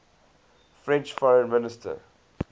french foreign minister